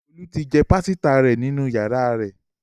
Olu tí jé pàsìta rẹ nínú yàrá rè